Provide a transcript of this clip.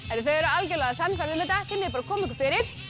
eru algjörlega sannfærð um þetta þið megið bara koma ykkur fyrir